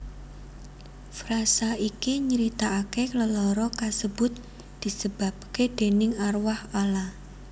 Frasa iki nyritaake lelara kasebut disebabke déning arwah ala